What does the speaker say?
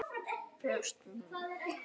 Brjóst mín.